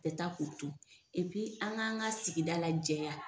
Bɛ taa k'u to an ŋa an ŋa sigida lajɛya.